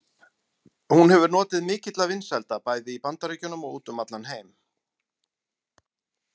Hún hefur notið mikilla vinsælda bæði í Bandaríkjunum og út um allan heim.